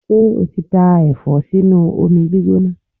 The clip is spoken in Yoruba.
Ṣé o ti dá Ẹ̀fọ́ sínú omi gbígbóná?